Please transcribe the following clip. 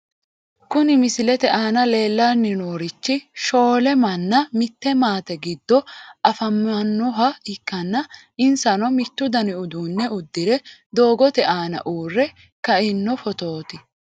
Kuni misilete aana leellanni noorichi shoole manna mitte maate giddo afamannoha ikkanna insano mittu dani uduune uddire doogote aana uurre kaino fotooti.